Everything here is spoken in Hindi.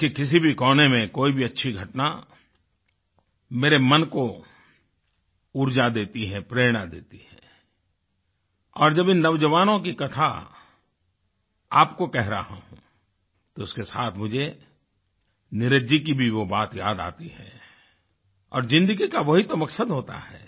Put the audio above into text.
देश के किसी भी कोने में कोई भी अच्छी घटना मेरे मन को ऊर्जा देती है प्रेरणा देती है और जब इन नौजवानों की कथा आपको कह रहा हूँ तो इसके साथ मुझे नीरज जी की भी वो बात याद आती है और ज़िंदगी का वही तो मक़सद होता है